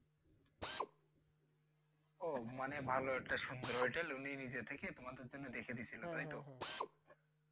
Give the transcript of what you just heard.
আহ মানে ভালো এটা সুন্দর হোটেল উনি নিজে থেকে তোমাদের জন্য দেখে দিছিল তাইতো?